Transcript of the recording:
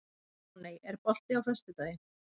Máney, er bolti á föstudaginn?